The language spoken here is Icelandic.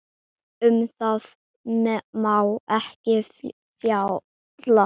Um það má ekki fjalla.